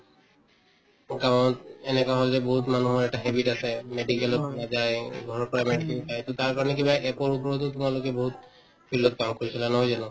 গাঁৱত এনেকুৱা হল যে বহুত মানুহৰ এটা habit আছে medical ত নাযায় এই ঘৰৰ পৰা medicine খাই to তাৰকাৰণে কিবা ওপৰতো তোমালোকে বহুত field ত কাম কৰিছিলা নহয় জানো